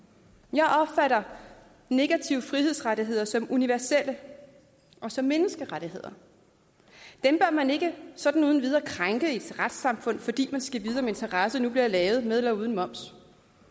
jeg opfatter negative frihedsrettigheder som universelle og som menneskerettigheder dem bør man ikke sådan uden videre krænke i et retssamfund fordi man skal vide om en terrasse nu bliver lavet med eller uden moms